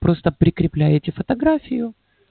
просто прикрепляете фотографию